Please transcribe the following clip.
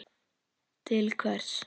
Til hvers?